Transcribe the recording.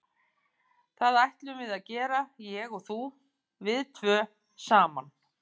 Það ætlum við að gera, ég og þú, við tvö, saman.